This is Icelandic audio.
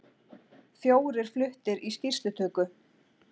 Fjórir fluttir í skýrslutöku